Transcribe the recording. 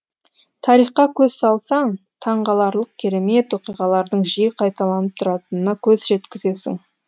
тарихқа көз салсаң таңғаларлық керемет оқиғалардың жиі қайталанып тұратынына көз жеткізесің